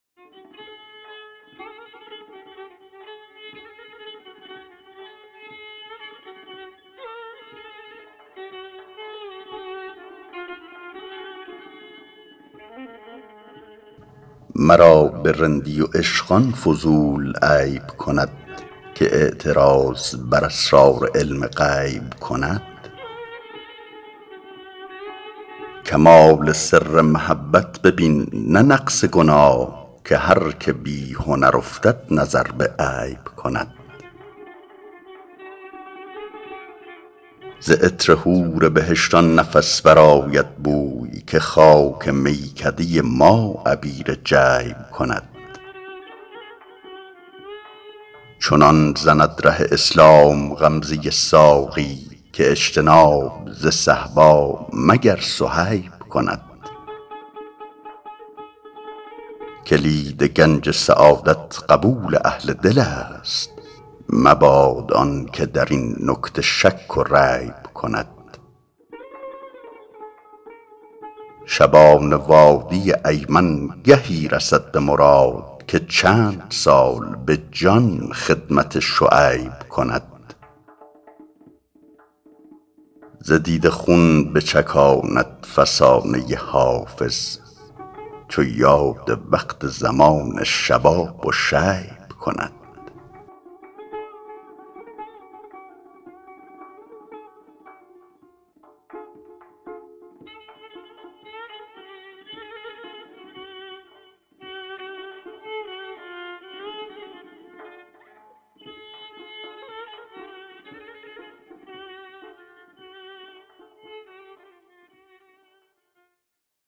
مرا به رندی و عشق آن فضول عیب کند که اعتراض بر اسرار علم غیب کند کمال سر محبت ببین نه نقص گناه که هر که بی هنر افتد نظر به عیب کند ز عطر حور بهشت آن نفس برآید بوی که خاک میکده ما عبیر جیب کند چنان زند ره اسلام غمزه ساقی که اجتناب ز صهبا مگر صهیب کند کلید گنج سعادت قبول اهل دل است مباد آن که در این نکته شک و ریب کند شبان وادی ایمن گهی رسد به مراد که چند سال به جان خدمت شعیب کند ز دیده خون بچکاند فسانه حافظ چو یاد وقت زمان شباب و شیب کند